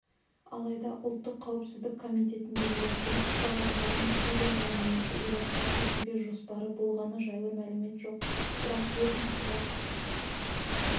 алайда ұлттық қауіпсіздік комитетіндегілерде ұсталғандардың сирияға немесе иракка кетуге жоспары болғаны жайлы мәлімет жоқ бірақ ведомство